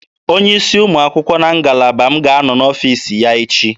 Onye isi ụmụ akwụkwọ na ngalaba m ga-anọ n'ọfiisi ya echi